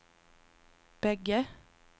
bägge